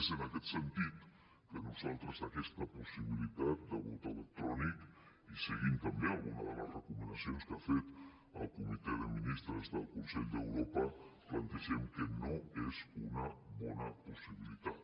és en aquest sentit que nosaltres aquesta possibilitat de vot electrònic i seguint també algunes de les recomanacions que ha fet el comitè de ministres del consell d’europa plantegem que no és una bona possibilitat